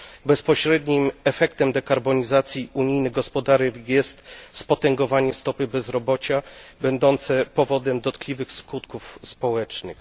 Bezpośrednim efektem dekarbonizacji unijnych gospodarek jest spotęgowanie stopy bezrobocia będące powodem dotkliwych skutków społecznych.